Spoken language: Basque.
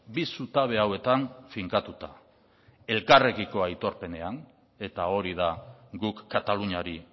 bi zutabe hauetan finkatuta elkarrekiko aitorpenean eta hori da guk kataluniari